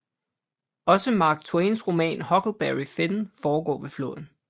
Også Mark Twains roman Huckleberry Finn foregår ved floden